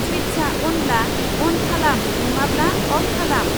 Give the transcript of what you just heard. सुइत्सा अनब्ला अन खालाम नङाब्ला अफ खालाम